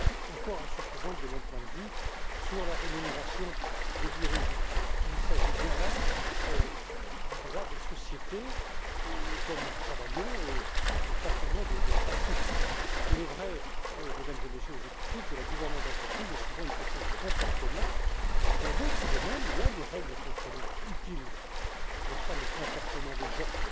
encore insuffisantes de mon point de vue, sur la rémunération des dirigeants. Il s'agit bien là du droit des sociétés sur lequel nous travaillons et pas seulement de principes. Il est vrai, Mesdames et Messieurs les députés, que la gouvernance d'entreprise est souvent une question de comportement, mais dans d'autres domaines aussi, il y a des règles contraignantes, utiles, qui concernent le comportement des